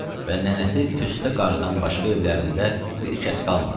Və nənəsi Püstə qarıdan başqa evlərində bir kəs qalmadı.